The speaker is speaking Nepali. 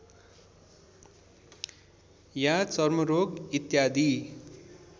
या चर्मरोग इत्यादि